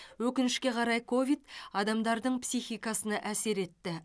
өкінішке қарай ковид адамдардың психикасына әсер етті